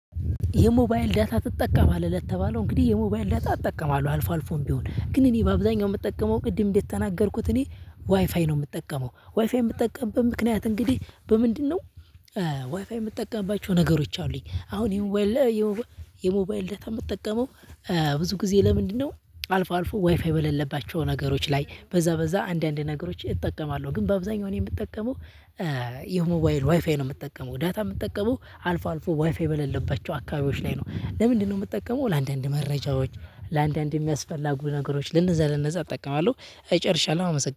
የሞባይል ዳታ ትጠቀማለህ? ለተባለው እንግዲህ የሞባይል ዳታ እጠቀማለሁ። አልፎ አልፎም ቢሆን፤ ግን እኔ በአብዛኛው የምጠቀመው ቅድም እንደ ተናገርኩት እኔ ዋይፋይ ነው የምጠቀመው። ዋይፋይ የምጠቀምበት ምክንያት እንግዲህ በምንድነው ዋይፋይ የምጠቀምባቸው ነገሮች አሉኝ። አሁን የሞባይል የሞባይል ዳታ የምትጠቀመው ብዙ ጊዜ ለምንድነው አልፎ አልፎ ዋይፋይ በሌለባቸው ነገሮች ላይ በዛ በዛ አንዳንድ ነገሮች እጠቀማለሁ፤ ግን በአብዛኛው እኔ የምጠቀመው የሞባይል ዋይፋይ ነው የምጠቀመው። ዳታ የምጠቀመው አልፎ አልፎ ዋይፋ በለለባቸው አካባቢዎች ላይ ነው። ለምንድነው የምትጠቀመው ለአንዳንድ መረጃዎች፤ ለአንዳንድ የሚያስፈልጉ ነገሮች ለነዛ ለነዛ እጠቃዋለሁ። ጨርሻለሁ አመሰግናለሁ።